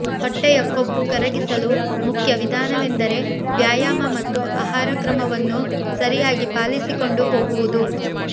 ಹೊಟ್ಟೆಯ ಕೊಬ್ಬು ಕರಗಿಸಲು ಮುಖ್ಯ ವಿಧಾನವೆಂದರೆ ವ್ಯಾಯಾಮ ಮತ್ತು ಆಹಾರ ಕ್ರಮವನ್ನು ಸರಿಯಾಗಿ ಪಾಲಿಸಿಕೊಂಡು ಹೋಗುವುದು